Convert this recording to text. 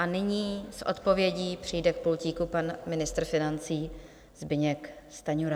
A nyní s odpovědí přijde k pultíku pan ministr financí Zbyněk Stanjura.